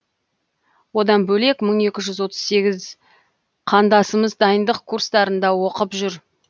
одан бөлек мың екі жүз отыз сегіз қандасымыз дайындық курстарында оқып жүр